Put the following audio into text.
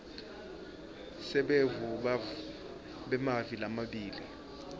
sebuve bemave lamabili